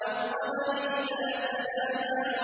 وَالْقَمَرِ إِذَا تَلَاهَا